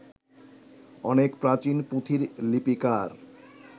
অনেক প্রাচীন পুঁথির লিপিকার